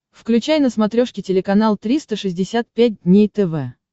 включай на смотрешке телеканал триста шестьдесят пять дней тв